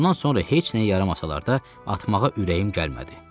Bundan sonra heç nəyə yaramasalar da atmağa ürəyim gəlmədi.